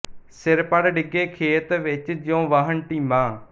ਸਿਰ ਪੜ੍ਹ ਡਿੱਗੇ ਖੇਤ ਵਿੱਚ ਜਿਉਂ ਵਾਹਣ ਢੀਮਾਂ